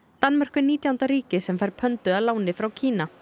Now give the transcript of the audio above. Danmörk er nítjánda ríkið sem fær að láni frá Kína